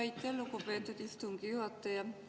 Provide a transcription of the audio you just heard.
Aitäh, lugupeetud istungi juhataja!